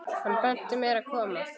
Hann benti mér að koma?